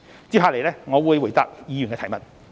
接下來我會回答議員的提問。